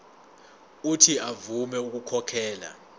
uuthi avume ukukhokhela